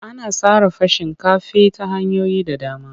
Ana sarrafa shinkafi ta hanyoyi da dama.